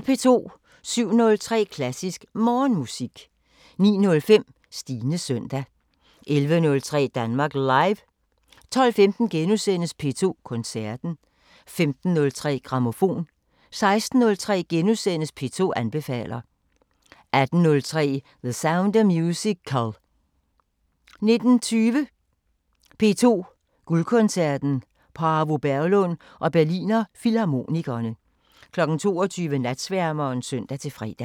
07:03: Klassisk Morgenmusik 09:05: Stines søndag 11:03: Danmark Live 12:15: P2 Koncerten * 15:03: Grammofon 16:03: P2 anbefaler * 18:03: The Sound of Musical 19:20: P2 Guldkoncerten: Paavo Berglund og Berliner Filharmonikerne 22:00: Natsværmeren (søn-fre)